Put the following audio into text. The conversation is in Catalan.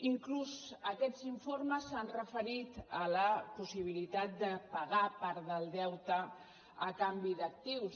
inclús aquests informes s’han referit a la possibilitat de pagar part del deute a canvi d’actius